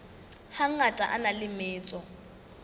hangata a na le metso